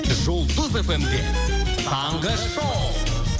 жұлдыз фмде таңғы шоу